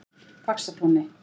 Faxatúni